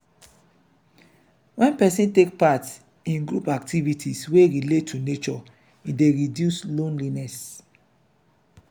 when person take part in group activites wey relate to nature e dey reduce loneliness